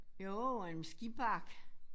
Jo og en skibakke